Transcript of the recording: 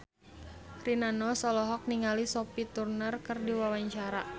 Rina Nose olohok ningali Sophie Turner keur diwawancara